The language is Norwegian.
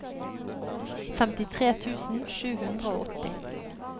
femtitre tusen sju hundre og åtti